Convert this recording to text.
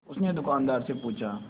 उसने दुकानदार से पूछा